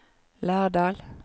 Lærdal